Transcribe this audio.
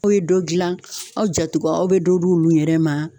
N'o ye dɔ gilan aw jatigiw a be dɔ di olu yɛrɛ ma